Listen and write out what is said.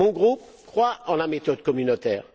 Mon groupe croit en la méthode communautaire.